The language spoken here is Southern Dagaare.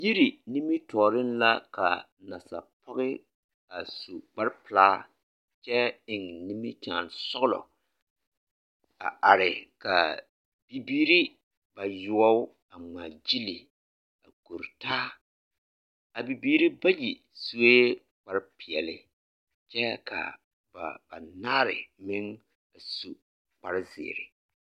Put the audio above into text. Yiri nimitɔɔre la ka nasapɔɡe a su kparpelaa kyɛ eŋ nimikyaanesɔɡelɔ a are ka bibiiri bayoɔ a ŋmaaɡyili a kore taa a bibiiri bayi sue kparpeɛle kyɛ ka ba banaare meŋ a su kparzeɛ.